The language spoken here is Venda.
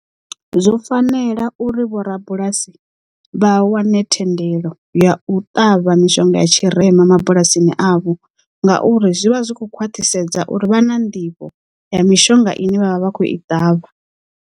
Zwo fanela uri vho rabulasi vha wane thendelo ya u ṱavha mishonga ya tshirema mabulasini avho ngauri zwivha zwikho khwaṱhisedza uri vha na nḓivho ya mishonga ine vhavha vha khou i ṱavha.